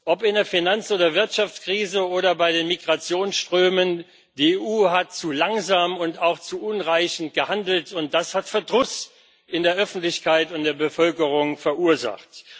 Ob in der Finanz oder Wirtschaftskrise oder bei den Migrationsströmen, die EU hat zu langsam und auch zu unzureichend gehandelt und das hat Verdruss in der Öffentlichkeit und in der Bevölkerung verursacht.